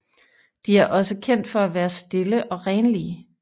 De er også kendt for at være stille og renlige